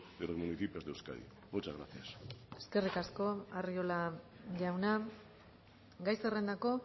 de los municipios de euskadi muchas gracias eskerrik asko arriola jauna gai zerrendako